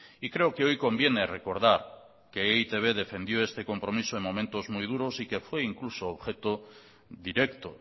y creo que hoy conviene recordar que e i te be defendió este compromiso en momentos muy duros y que fue incluso objeto directo